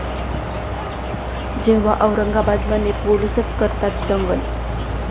जेव्हा औरंगाबादमध्ये पोलीसच करतात दंगल!